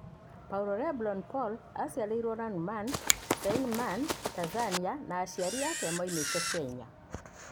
Paulo Lebron Polo aaciarĩirwo Lagnu-Marn, Seine-Marne Tanzania, no aciari ake maũmete Kenya.